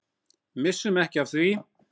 Missum ekki af því.